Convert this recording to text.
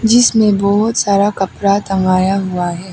जिसमें बहोत सारा कपड़ा टंगाया हुआ है।